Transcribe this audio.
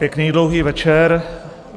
Pěkný dlouhý večer.